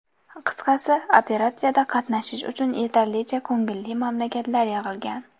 Qisqasi, operatsiyada qatnashish uchun yetarlicha ko‘ngilli mamlakatlar yig‘ilgan.